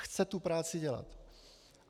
Chce tu práci dělat.